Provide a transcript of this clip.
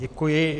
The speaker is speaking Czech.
Děkuji.